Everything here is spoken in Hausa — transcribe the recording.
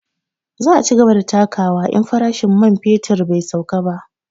Za a cigaba da takawa in farashin fetur bai sauka ba